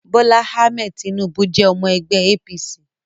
Bola Ahmed Tinubu jẹ́ ọmọ ẹgbẹ́ APC